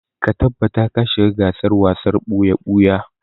Ka tabbata ka shiga gasar wasar ɓuya-ɓuya!